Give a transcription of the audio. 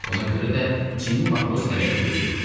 Buna görə də çinli matros hələlik dözürdü.